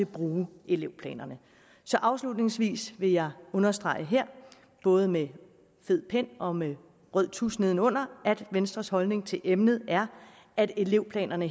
bruge elevplanerne så afslutningsvis vil jeg understrege både med fed pen og med en rød tusstreg nedenunder at venstres holdning til emnet er at elevplanerne